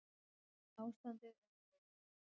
Ástandið er hræðilegt